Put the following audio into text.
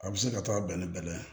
A bɛ se ka taa dan ni bɛlɛ ye